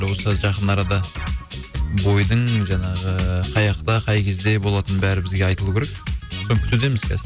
осы жақын арада бойдың жаңағы ыыы қаяқта қай кезде болатыны бәрі бізге айтылуы керек соны күтудеміз қазір